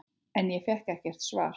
En ég fékk ekkert svar.